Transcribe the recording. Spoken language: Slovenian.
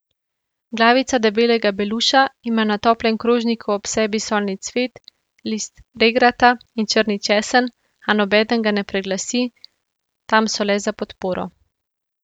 Glavica debelega beluša ima na toplem krožniku ob sebi solni cvet, list regrata in črni česen, a nobeden ga ne preglasi, tam so le za podporo.